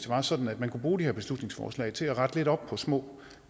var sådan at man kunne bruge de her beslutningsforslag til at rette lidt op på små